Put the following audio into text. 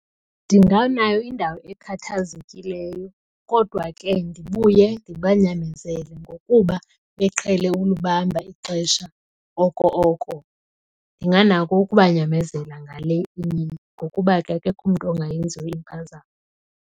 Ndinganayo indawo ekhathazekileyo kodwa ke ndibuye ndibanyamezele ngokuba beqhele ukulibamba ixesha oko oko. Ndinganako ukubanyamezela ngale imini ngokuba ke akekho umntu ongayenziyo impazamo.